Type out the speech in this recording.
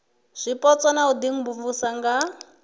zwipotso na u imvumvusa nga